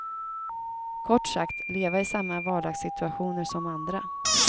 Kort sagt leva i samma vardagssituationer som andra.